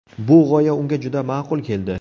Bu g‘oya unga juda ma’qul keldi.